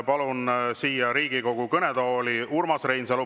Palun siia Riigikogu kõnetooli Urmas Reinsalu.